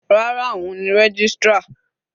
Rárá, òun ni registrar.